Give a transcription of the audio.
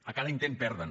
a cada intent perden